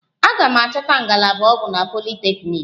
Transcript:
A ga m achọta ngalaba ọgwụ na politeknik?